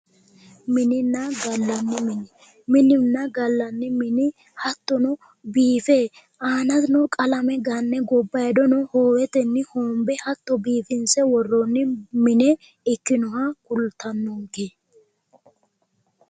Minenna gallanni mine minunna gallanni mini hattono biife aanano qalame ganne gobbaydono hoowetenni hoombe hattono biifinse worroonni mine ikkinoha kultannonke